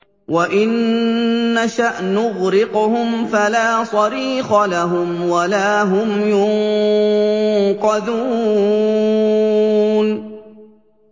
وَإِن نَّشَأْ نُغْرِقْهُمْ فَلَا صَرِيخَ لَهُمْ وَلَا هُمْ يُنقَذُونَ